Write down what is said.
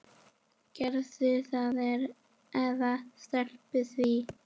Gerðu það eða slepptu því.